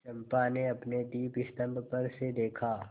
चंपा ने अपने दीपस्तंभ पर से देखा